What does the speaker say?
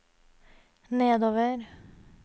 nedover